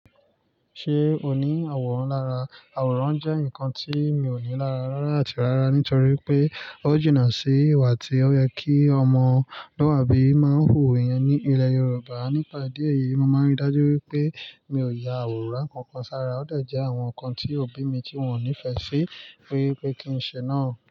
Ṣé o ní àwòrán lára? Àwòrán jẹ́ nǹkan tí mi ò ní lára rárá àti rárá, nítorí wipé ó jìnnà sí ìwà tí ó yẹ kí ọmọluabi máa ń wù iyẹn ní ilẹ̀ Yorùbá. Nípa ìdí èyí, mo máa ń rí dájú wípé mi ò ya àwòrán kankan sára. Ó de jẹ àwọn ǹkan tí òbí mi tí wọ́n ò nífẹ̀ẹ́ sí wípé kí ń ṣe náà.